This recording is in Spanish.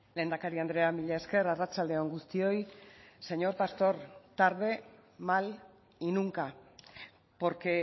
lehendakari andrea mila esker arratsalde on guztioi señor pastor tarde mal y nunca porque